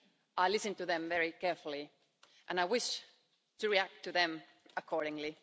I listened to them very carefully and I wish to react to them accordingly.